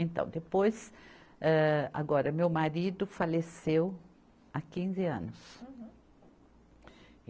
Então, depois, âh, agora, meu marido faleceu há quinze anos. Uhum. É